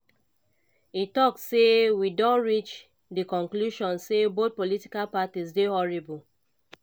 e tok say "we don reach di conclusion say both political parties dey horrible".